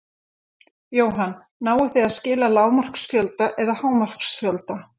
Jóhann: Náið þið að skila lágmarksfjölda eða hámarksfjölda?